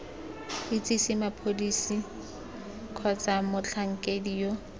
itsise mapodisi kgotsa motlhankedi yo